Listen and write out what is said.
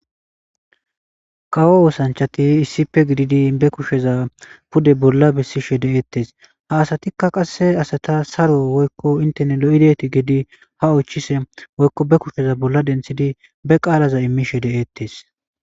qawo oosanchati iisipe gididi be kusheza pude bolla bessishe de7ettes ha asatikka qasse asata saro woykko inteni lo7ideti gedi ha oychise woykko be kusheza bolla denthidi be qaalaza immishe de7ettes